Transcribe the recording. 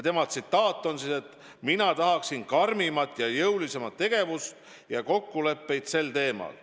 Tema tsitaat on selline: "Mina tahaksin karmimat ja jõulisemat tegevust ja kokkuleppeid sel teemal.